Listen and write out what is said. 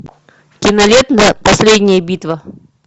кинолента последняя битва